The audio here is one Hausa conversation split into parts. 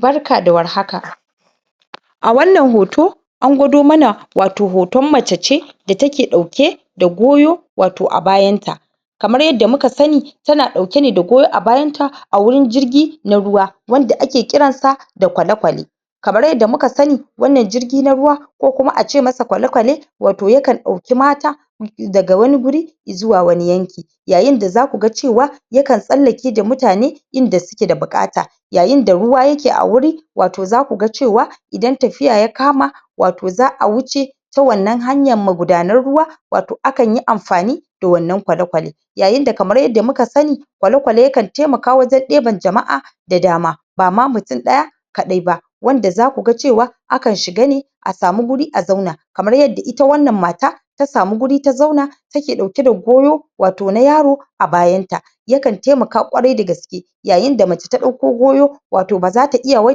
Barka da warhaka a wannan hoto an gwado mana wato hoton mace ce da take ɗauke da goyo wato a bayanta kamar yadda muka sani tana ɗaukene da goyo a bayanta a wurin jirgi na ruwa wanda ake ƙiransa da kwale-kwale kamar yadda muka sani wannan jirgi na ruwa ko kuma ace masa kwale-kwale wato yakan ɗauki mata? daga wani guri izuwa wani yanki yayinda zakuga cewa yakan tsallake da mutane inda suke da buƙata yayinda ruwa yake a wuri wato zakuga cewa idan tafiya ya kama wato za a wuce ta wannan hanyan magudanan ruwa wato akanyi amfani da wannan kwale-kwale yayinda kamar yadda muka sani kwale-kwale yakan temaka wajen ɗeban jama'a da dama bama mutum ɗaya kaɗai ba wanda zakuga cewa akan shiga ne a samu guri a zauna kamar yadda ita wannan mata ta samu guri ta zauna take ɗauke da goyo wato na yaro a bayanta yakan temaka ƙwarai da gaske yayinda mace ta ɗauko goyo wato bazata iya wai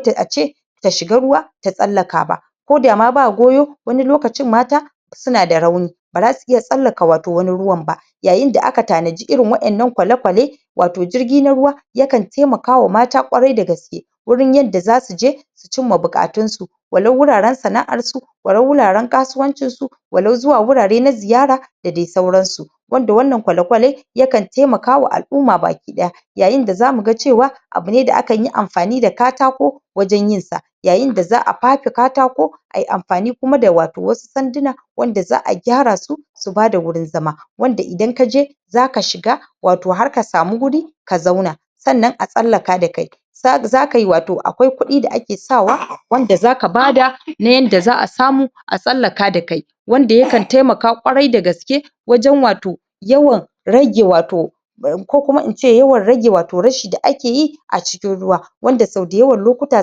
ta ace ta shiga ruwa, ta tsallaka ba koda ma ba goyo wani lokacin mata sunada rauni bara su iya tsallaka wato wanin ruwan ba yayinda aka tanaji irin waƴannan kwale-kwale wato jirgi na ruwa yakan temakawa mata ƙwarai da gaske gurin yadda zasuje su cimma buƙatun su walau wuraren sana'arsu walau wuraren kasuwancin su walau zuwa wurare na ziyara da de sauransu wanda wannan kwale-kwale yakan temakawa al'uma baki ɗaya yayinda zamuga cewa abune da akanyi amfani da katako wajen yinsa yayinda za a fafe katako ai amfani kuma da wato wasu sanduna wanda za a gyara su su bada wurin zama wanda idan kaje zaka shiga wato har ka samu guri ka zauna sannan a tsallaka da kai sa zakai wato akwai kuɗi da ake sawa wanda zaka bada, na yanda za a samu a tsallaka da kai wanda yakan temaka ƙwarai da gaske wajen wato yawan rage wato? ko kuma ince yawan rage wato rashi da akeyi a cikin ruwa wanda so dayawan lokuta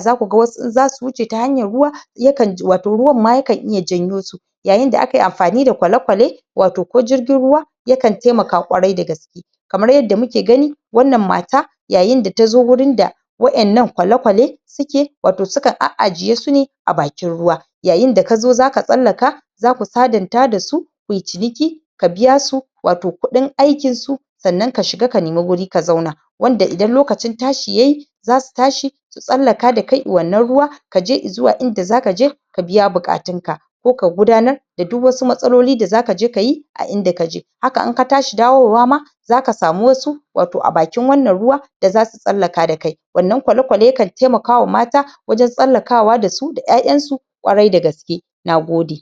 zakuga wasu in zasu wuce ta hanyar ruwa yakan, wato ruwan ma yakan iya janyo su yayinda akai amfani da kwale-kwale wato ko jirgin ruwa yakan temaka ƙwarai da gaske kamar yadda muke gani wannan mata yayinda tazo wurin da waƴannan kwale-kwale suke wato suka a'ajiye sune a bakin ruwa yayinda kazo zaka tsallaka zasu sadanta dasu kuyi ciniki ka biyasu wato kuɗin aikinsu sannan ka shiga ka nemi wuri ka zauna wanda idan lokacin tashi yayi zasu tashi su tsallaka da kai i wannan ruwa kaje izuwa inda zakaje ka biya buƙatun ka ko ka gudanar da du wasu matsaloli da zakaje kayi a inda kaje haka inka tashi dawowa ma zaka samu wasu wato a bakin wannan ruwa da zasu tsallaka da kai wannan kwale-kwale yakan temakawa mata wajen tsallakawa dasu, da ƴaƴansu ƙwarai da gaske nagode.